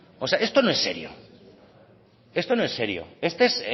esto no es serio esto no es serio esta es